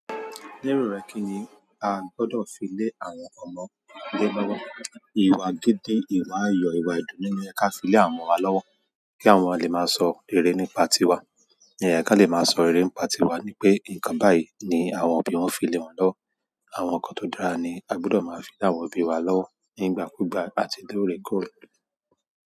Lérò rẹ̀ kí ni a gbọ́dọ̀ fi lé àwọn ọmọdé lọ́wọ́? Ìwà gidi, ìwà ayọ̀, ìwà ìdùnnú ni ẹ ká fi lé àwọn ọmọ wa lọ́wọ́ kí àwọn ọmọ wa lè máa sọ rere nípa tiwa. Ó yẹ kí wọ́n le máa sọ rere nípa tiwa ni pé nǹkan báyìí ni àwọn òbí wọn fi lé wọn lọ́wọ́. Àwọn ǹkan tó dára ni a gbọ́dọ̀ máa fi lé àwọn òbí wa lọ́wọ́ nígbàkúùgbà àti lóòrèkóòrè.